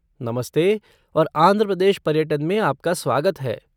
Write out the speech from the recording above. नमस्ते और आंध्र प्रदेश पर्यटन में आपका स्वागत है।